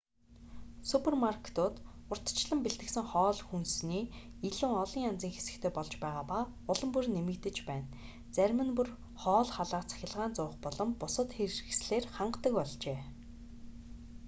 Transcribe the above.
супермаркетууд урьдчилан бэлтгэсэн хоол хүнсний илүү олон янзын хэсэгтэй болж байгаа нь улам бүр нэмэгдэж байна зарим нь бүр хоол халаах цахилгаан зуух болон бусад хэрэгслээр хангадаг болжээ